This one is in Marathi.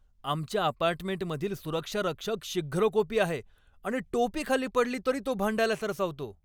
आमच्या अपार्टमेंटमधील सुरक्षारक्षक शीघ्रकोपी आहे आणि टोपी खाली पडली तरी तो भांडायला सरसावतो.